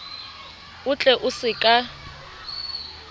o tle o se ka